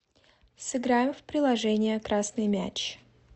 сыграем в приложение красный мяч